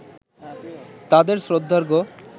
তাদেঁর শ্রদ্ধার্ঘ্য